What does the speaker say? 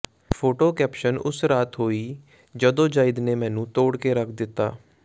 photo caption ਉਸ ਰਾਤ ਹੋਈ ਜੱਦੋਜਹਿਦ ਨੇ ਮੈਨੂੰ ਤੋੜ ਕੇ ਰੱਖ ਦਿੱਤਾ